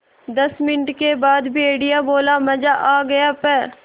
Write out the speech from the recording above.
दस मिनट के बाद भेड़िया बोला मज़ा आ गया प्